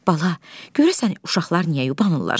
Bala, görəsən uşaqlar niyə yubanırlar?